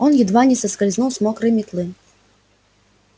он едва не соскользнул с мокрой метлы